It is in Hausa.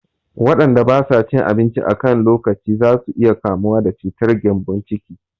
Waƴanda ba sa cin abinci a kan lokaci za su iya kamuwa da cutar gƴambon ciki